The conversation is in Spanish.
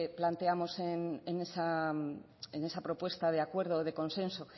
planteamos en esa propuesta de acuerdo o de consenso